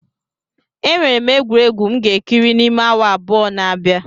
Enwere m egwuregwu m ga-ekiri n'ime awa abụọ na-abia.